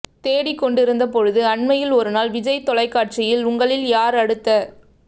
தேடிக்கொண்டு இருந்த பொழுது அண்மையில் ஒரு நாள் விஜய் தொலைக்காட்சியில் உங்களில் யார் அடுத்த